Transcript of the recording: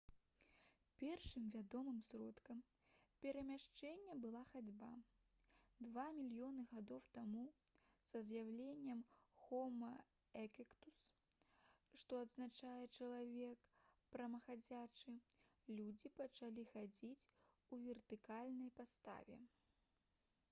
першым вядомым сродкам перамяшчэння была хадзьба. два мільёны гадоў таму са з'яўленнем хома эрэктус што азначае «чалавек прамаходзячы» людзі пачалі хадзіць у вертыкальнай паставе